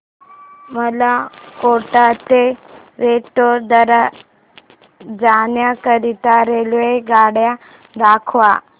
मला कोटा ते वडोदरा जाण्या करीता रेल्वेगाड्या दाखवा